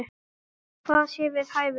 Hvað sé við hæfi.